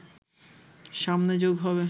সামনে যোগ হবে